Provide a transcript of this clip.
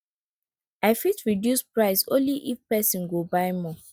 i fit reduce price only if person go buy more